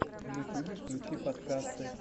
в ютубе включи подкасты